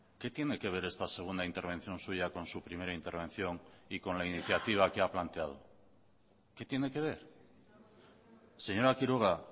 qué tiene que ver esta segunda intervención suya con su primera intervención y con la iniciativa que ha planteado qué tiene que ver señora quiroga